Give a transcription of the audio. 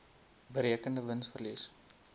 berekende wins verlies